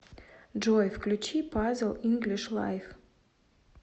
джой включи пазл инглиш лайф